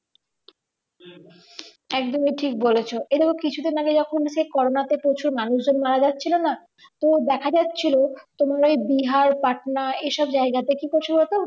একদমই ঠিক বলেছো এই দেখো কিছু দিন আগে যখন কোরোনা তে যখন প্রচুর মানুষজন মারা যাচ্ছিলো না তো দেখা যাচ্ছিলো তোমার ওই বিহার পাটনার এই সব জায়গাতে কি করছে বলো তো